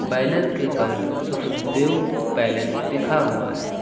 Banner के ऊपर Sukhdev palace लिखा हुआ है।